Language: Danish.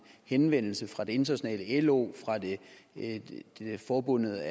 henvendelse fra det internationale lo og fra forbundet